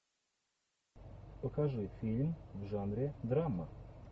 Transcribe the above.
покажи фильм в жанре драма